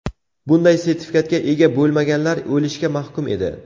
Bunday sertifikatga ega bo‘lmaganlar o‘lishga mahkum edi.